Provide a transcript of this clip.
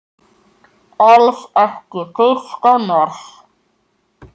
Alls ekki fyrsta mars!